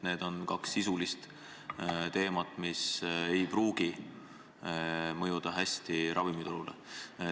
Need on kaks sisulist teemat, mis ei pruugi ravimiturule hästi mõjuda.